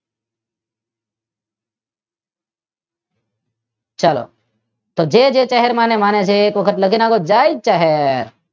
ચાલો જે જે ચહેર માતાને માને છે તે એક વાર લખી દ્યો જય ચહેર